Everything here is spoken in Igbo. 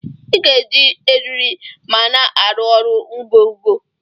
Iga eji eriri ma na arụ ọrụ ngọgọ!!